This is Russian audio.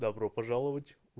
добро пожаловать